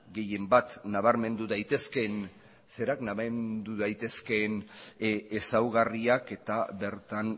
gehien bat nabarmendu daitezkeen ezaugarriak eta bertan